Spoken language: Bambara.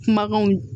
Kumakanw